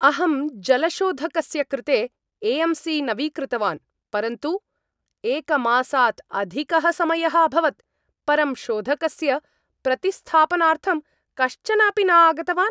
अहं जलशोधकस्य कृते ए.एम्.सी. नवीकृतवान्, परन्तु एकमासात् अधिकः समयः अभवत् परं शोधकस्य प्रतिस्थापनार्थं कश्चन अपि न आगतवान्।